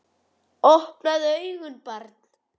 Opnaðu augun barn!